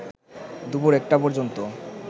দুপুর একটা পর্যন্ত